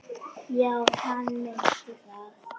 Já, hann meinti það.